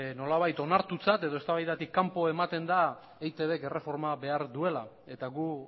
nolabait onartutzat edo eztabaidatik kanpo ematen da eitbk erreforma behar duela eta gu